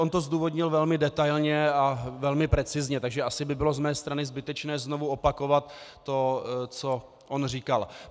On to zdůvodnil velmi detailně a velmi precizně, takže asi by bylo z mé strany zbytečné znovu opakovat to, co on říkal.